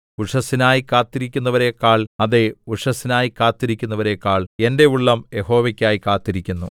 ഉഷസ്സിനായി കാത്തിരിക്കുന്നവരെക്കാൾ അതെ ഉഷസ്സിനായി കാത്തിരിക്കുന്നവരെക്കാൾ എന്റെ ഉള്ളം യഹോവയ്ക്കായി കാത്തിരിക്കുന്നു